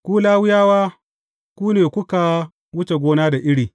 Ku Lawiyawa ku ne kuka wuce gona da iri!